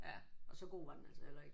Ja og så god var den altså heller ikke